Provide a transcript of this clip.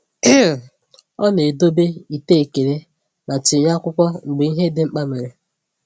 um Ọ na-edobe ite ekele ma tinye akwụkwọ mgbe ihe dị mkpa mere.